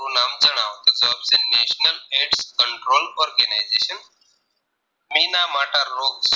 Control organization Ninamata રોગ